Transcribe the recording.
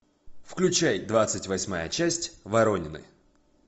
включай двадцать восьмая часть воронины